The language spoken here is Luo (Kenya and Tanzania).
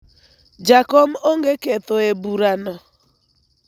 jakom onge ketho e bura no